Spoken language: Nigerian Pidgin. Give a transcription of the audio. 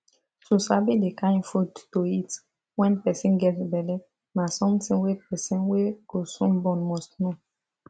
to sabi the kind food to eat when person get belle na something wey person wey go soon born must know